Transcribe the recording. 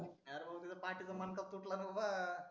अरे बाबा त्याच्या पाटीचा मणका फुटलान बाबा